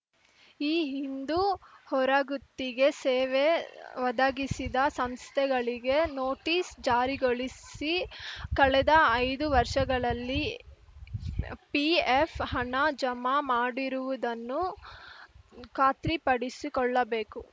ಈ ಹಿಂದು ಹೊರಗುತ್ತಿಗೆ ಸೇವೆ ಒದಗಿಸಿದ ಸಂಸ್ಥೆಗಳಿಗೆ ನೋಟಿಸ್‌ ಜಾರಿಗೊಳಿಸಿ ಕಳೆದ ಐದು ವರ್ಷಗಳಲ್ಲಿ ಪಿಎಫ್‌ ಹಣ ಜಮಾ ಮಾಡಿರುವುದನ್ನು ಖಾತ್ರಿಪಡಿಸಿಕೊಳ್ಳಬೇಕು